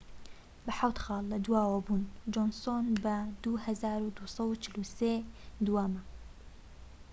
بە حەوت خاڵ لە دواوە بوون جۆنسۆن بە 2243 دووەمە